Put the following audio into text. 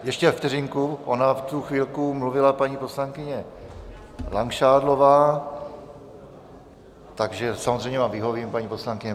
Ještě vteřinku, ona v tu chvilku mluvila paní poslankyně Langšádlová, takže samozřejmě vám vyhovím, paní poslankyně.